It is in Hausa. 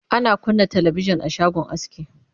ana kunna talabijan a shagon aski